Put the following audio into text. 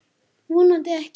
Vonandi ekki.